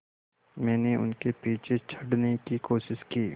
मैंने उनके पीछे चढ़ने की कोशिश की